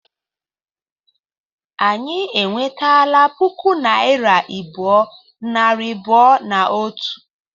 Anyị enwetela puku naịra abụọ, nari abụọ na otu